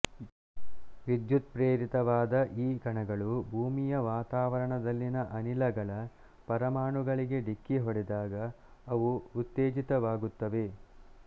ವಿದ್ಯುತ್ಪ್ರೇರಿತವಾದ ಈ ಕಣಗಳು ಭೂಮಿಯ ವಾತಾವರಣದಲ್ಲಿನ ಅನಿಲಗಳ ಪರಮಾಣುಗಳಿಗೆ ಢಿಕ್ಕಿ ಹೊಡೆದಾಗ ಅವು ಉತ್ತೇಜಿತವಾಗುತ್ತವೆ